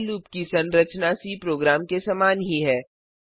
while loop की संरचना C program के समान ही है